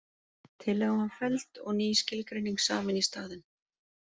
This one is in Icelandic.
Tillagan var felld og ný skilgreining samin í staðinn.